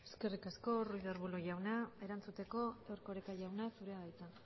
eskerrik asko ruiz de arbulo jauna erantzuteko erkoreka jauna zurea da hitza